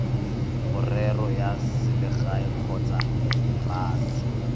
merero ya selegae kgotsa embasi